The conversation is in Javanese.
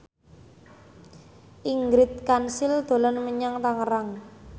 Ingrid Kansil dolan menyang Tangerang